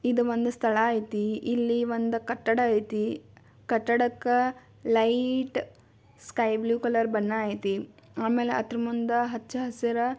ಇದು ಒಂದು ಸ್ಥಳ ಐತಿ ಇಲ್ಲೂ ಒಂದು ಕಟ್ಟಡ ಐತಿ. ಕಟ್ಟಡಕ್ಕ ಲೈಟ್ ಸ್ಕೈ ಬ್ಲೂ ಕಲರ್ ಬಣ್ಣ ಐತಿ. ಆಮೇಲೆ ಆದ್ರೂ ಮುಂದ ಹಚ್ಚಹಸಿರ--